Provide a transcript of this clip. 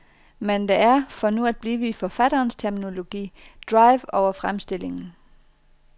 Men der er, for nu at blive i forfatterens terminologi, drive over fremstillingen.